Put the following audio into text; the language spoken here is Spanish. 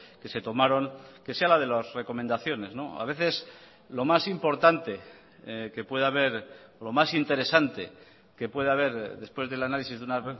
que se tomaron que sea la de las recomendaciones a veces lo más importante que puede haber lo más interesante que puede haber después del análisis de una